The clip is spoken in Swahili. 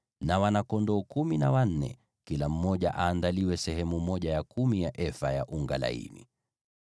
na kwa wana-kondoo kumi na wanne, kila mmoja aandaliwe sehemu ya kumi ya efa ya unga laini.